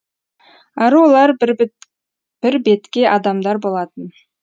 әрі олар бірбеткей адамдар болатын